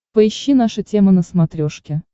поищи наша тема на смотрешке